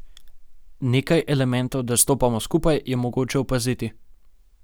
Nekaj elementov, da stopamo skupaj, je mogoče opaziti.